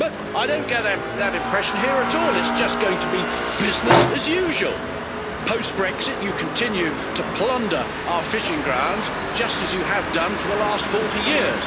But I don't get that impression here at all it's just going to be business as usual post Brexit, you continue to plunder our fishing grounds, just as you have done for the last 40 years.